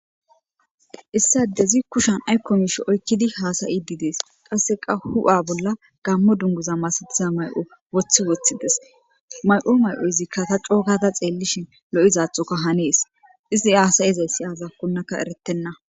issade zi kushan aykkomisho oykkidi haasayi didees qasse qa hu7a bolla gammo dunguza masatiza may7o woththi woththides may7o may7oyizikka ta cookata xeellishin lo7izaathokka hanees izi haasayizay siyaza konnaka eretenna